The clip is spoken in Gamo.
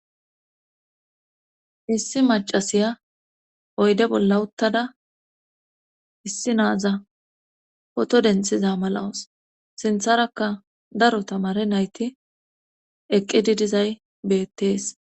Issi macasiya oyde bolla uttada issi naaza poto denxiza malawus sintharakka daro tamare nayti eqqi didizay beettees.